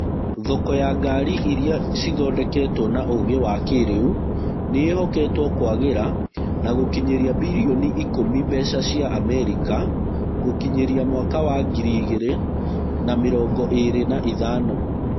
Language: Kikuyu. Thoko ya ngari irĩa cithondeketwo na ũgĩ wa kĩrĩu nĩĩhoketwo kwagĩra na gũkinyĩria birioni ikũmi mbeca cia amerika. gũkinyĩria mwaka wa ngiri igĩrĩ na mĩrongo ĩrĩ na ithano.